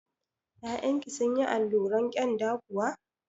Ya'yan ki sunyi alluran kyanda kuwa?